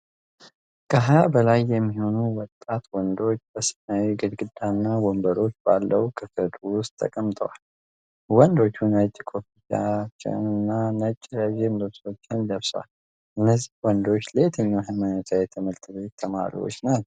ከሃያ በላይ የሚሆኑ ወጣት ወንዶች በሰማያዊ ግድግዳና ወንበሮች ባለው ክፍል ውስጥ ተቀምጠዋል። ወንዶቹ ነጭ ኮፍያዎችን እና ነጭ ረዥም ልብሶችን ለብሰዋል። እነዚህ ወንዶች ለየትኛው ሃይማኖታዊ ትምህርት ቤት ተማሪዎች ናቸው?